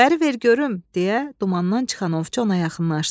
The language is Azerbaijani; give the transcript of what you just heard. Bəri ver görüm, deyə dumandan çıxan ovçu ona yaxınlaşdı.